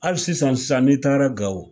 Hali sisan sisan n'i taara Gawo